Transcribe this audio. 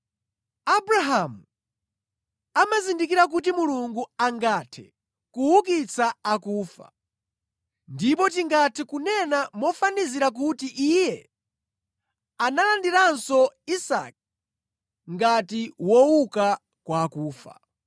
Abrahamu amazindikira kuti Mulungu angathe kuukitsa akufa, ndipo tingathe kunena mofanizira kuti iye analandiranso Isake ngati wouka kwa akufa.